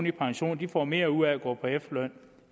i pension får mere ud at gå på efterløn